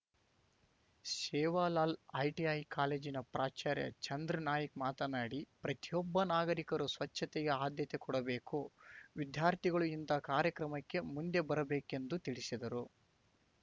Sevalal ITI ಕಾಲೇಜಿನ ಪ್ರಾಚಾರ್ಯ ಚಂದ್ರನಾಯ್ಕ ಮಾತನಾಡಿ ಪ್ರತಿಯೊಬ್ಬ ನಾಗರಿಕರು ಸ್ವಚ್ಛತೆಗೆ ಅದ್ಯತೆ ಕೊಡಬೇಕು ವಿದ್ಯಾರ್ಥಿಗಳು ಇಂತಹ ಕಾರ್ಯಕ್ರಮಕ್ಕೆ ಮುಂದೆ ಬರಬೇಕೆಂದು ತಿಳಿಸಿದರು